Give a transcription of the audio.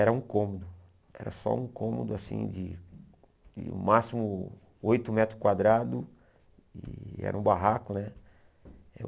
Era um cômodo, era só um cômodo, assim, de no máximo oito metros quadrados, e era um barraco, né? Eu